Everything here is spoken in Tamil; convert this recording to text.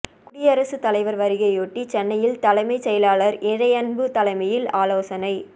குடியரசு தலைவர் வருகையையொட்டி சென்னையில் தலைமை செயலாளர் இறையன்பு தலைமையில் ஆலோசனை